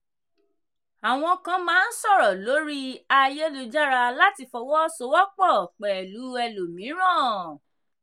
àwọn kan máa ń sọ̀rọ̀ lórí ayélujára láti fọwọ́ sowọ́pọ̀ pẹ̀lú ẹlòmíràn.